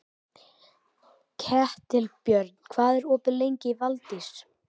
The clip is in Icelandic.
Ketilbjörn, hvað er opið lengi í Valdís?